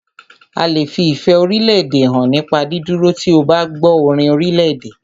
A lè fi ìfẹ́ orílédè hàn nípa dídúró tí o bá gbọ́ orin orílèdè.